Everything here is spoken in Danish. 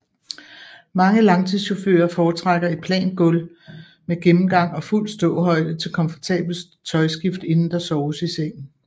Mange langturschauffører foretrækker et plant gulv med gennemgang og fuld ståhøjde til komfortabelt tøjskift inden der soves i sengen